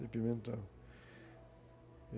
De pimentão.